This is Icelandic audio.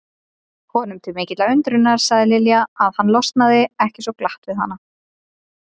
Honum til mikillar undrunar sagði Lilja að hann losnaði ekki svo glatt við hana.